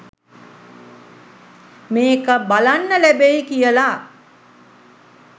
මේක බලන්න ලැබෙයි කියලා.